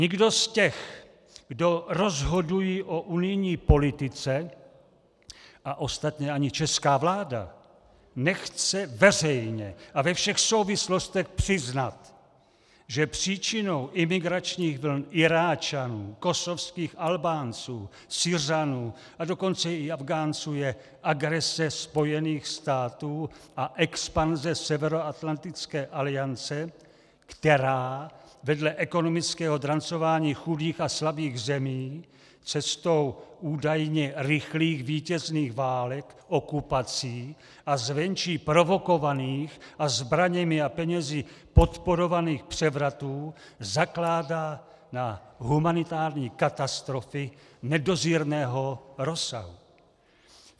Nikdo z těch, kdo rozhodují o unijní politice, a ostatně ani česká vláda, nechce veřejně a ve všech souvislostech přiznat, že příčinou imigračních vln Iráčanů, kosovských Albánců, Syřanů a dokonce i Afghánců je agrese Spojených států a expanze Severoatlantické aliance, která vedle ekonomického drancování chudých a slabých zemí cestou údajně rychlých vítězných válek, okupací a zvenčí provokovaných a zbraněmi a penězi podporovaných převratů zakládá na humanitární katastrofy nedozírného rozsahu.